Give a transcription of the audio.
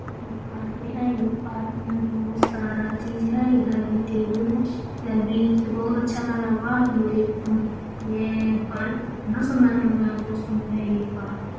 ये पार्क है। ये पार्क में बहुत सारा चीज है। इधर ही टेबुल है। इधर वृक्ष बहुत अच्छा लग रहा है। ये पार्क कितना सुंदर लग रहा है बहुत सुंदर है ये पार्क ।